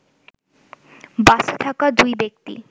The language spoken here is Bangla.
বাসে থাকা দুই ব্যক্তি